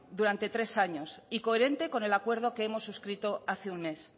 durante tres años y coherente con el acuerdo que hemos suscrito hace un mes